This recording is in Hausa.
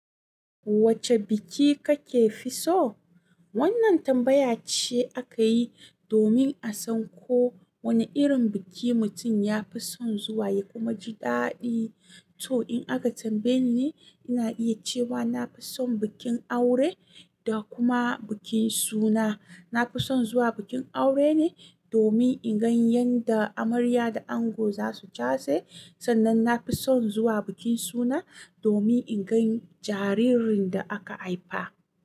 Wacce biki kake fi so? Wannan tambaya ce aka yi domin a san ko wane irin biki mutum ya fi son zuwa ya kuma ji daɗi. To in aka tambaye ni, ina iya cewa na fi son bikin aure da kuma bikin suna. Na fi son zuwa bikin aure ne domin in gan yanda amarya da ango za su case, sannan na fi son zuwa bikin suna domin in gan jaririn da aka haifa.